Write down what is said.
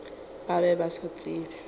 ba be ba sa tsebe